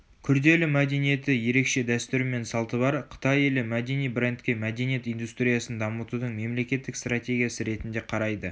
күрделі мәдениеті ерекше дәстүрі мен салты бар қытай елі мәдени брендке мәдениет индустриясын дамытудың мемлекеттік стратегиясы ретінде қарайды